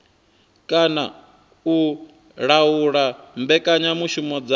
kana u laula mbekanyamushumo dza